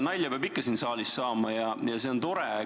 Nalja peab ikka siin saalis saama ja see on tore.